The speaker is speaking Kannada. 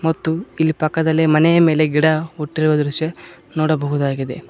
ಮತ್ತು ಇಲ್ಲಿ ಪಕ್ಕದಲ್ಲೆ ಮನೆಯ ಮೇಲೆ ಗಿಡ ಹುಟ್ಟಿರುವ ದೃಶ್ಯ ನೋಡಬಹುದಾಗಿದೆ.